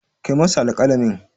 Kai masa alƙalamin.